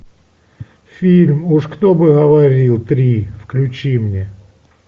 фильм уж кто бы говорил три включи мне